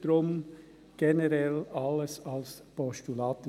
Deshalb, aus unserer Sicht: generell alles als Postulat.